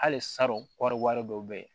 Hali salon kɔɔri wari dɔw bɛ yen